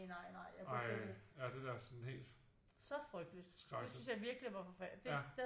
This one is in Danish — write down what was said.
Ej ja det da også sådan helt skrækkeligt